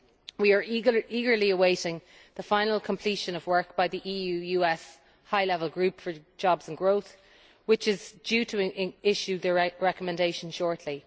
We are eagerly awaiting the final completion of work by the EU US High Level Group for Jobs and Growth, which is due to issue its recommendations shortly.